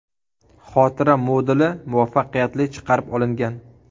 Xotira moduli muvaffaqiyatli chiqarib olingan.